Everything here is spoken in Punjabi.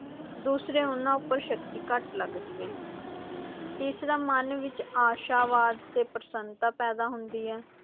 ਦੂਸਰੇ ਉਨ੍ਹਾਂ ਉੱਪਰ ਸ਼ਕਤੀ ਘੱਟ ਲਗਦੀ ਹੈ ਤੀਸਰਾ ਮਨ ਵਿੱਚ ਆਸ਼ਾਵਾਦ ਤੇ ਪ੍ਰਸੰਨਤਾ ਪੈਦਾ ਹੁੰਦੀ ਹੈ।